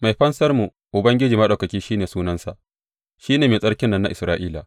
Mai Fansarmu, Ubangiji Maɗaukaki shi ne sunansa, shi ne Mai Tsarkin nan na Isra’ila.